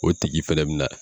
O tigi fɛnɛ bɛ na